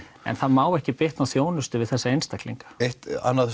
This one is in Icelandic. en það má ekki bitna á þjónustu við þessa einstaklinga eitt